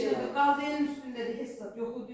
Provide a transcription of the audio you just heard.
Heç nə də qalmayıb üstündə, heç saat yox idi.